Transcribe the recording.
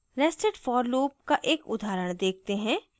nested for loop का एक उदाहरण देखते हैं